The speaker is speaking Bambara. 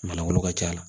Manlangolo ka ca